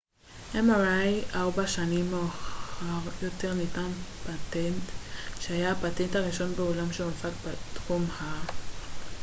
ארבע שנים מאוחר יותר ניתן פטנט שהיה הפטנט הראשון בעולם שהונפק בתחום ה-mri